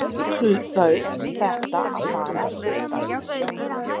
Nú hlaut þetta að fara að styttast.